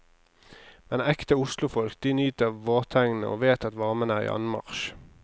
Men ekte oslofolk, de nyter vårtegnene og vet at varmen er i anmarsj.